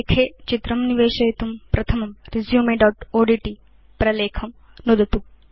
प्रलेखे चित्रं निवेशयितुं प्रथमं resumeओड्ट् प्रलेखं नुदतु